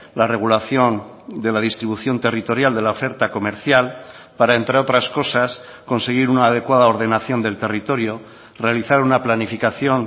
la regulación de la distribución territorial de la oferta comercial para entre otras cosas conseguir una adecuada ordenación del territorio realizar una planificación